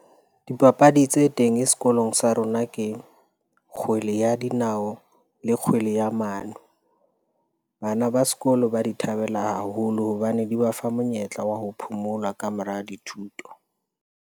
Dipapadi tse teng sekolong sa rona ke kgwele ya dinao le kgwele ya mano. Bana ba sekolo ba di thabela haholo hobane di ba fa monyetla wa ho phomola ka mora dithuto.